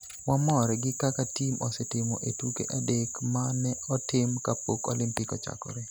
"Wamor gi kaka tim osetimo e tuke adek ma ne otim kapok Olimpik ochakore.